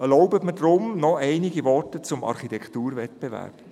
Erlauben Sie mir deshalb noch einige Worte zum Architekturwettbewerb: